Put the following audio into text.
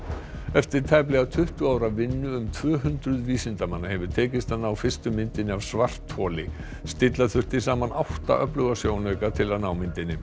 eftir tæplega tuttugu ára vinnu um tvö hundruð vísindamanna hefur tekist að ná fyrstu myndinni af svartholi stilla þurfti saman átta öfluga sjónauka til að ná myndinni